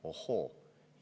Ohoo!